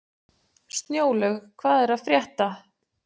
Snjólaug, hvað er að frétta?